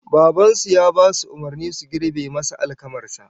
Baban su ya basu umurnin su girbe masa alkamar sa